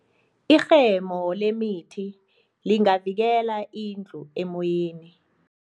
Irhemo lemithi lingavikela indlu emoyeni.